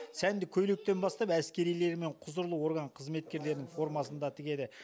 сәнді көйлектен бастап әскерилер мен құзырлы орган қызметкерлерінің формасын да тігеді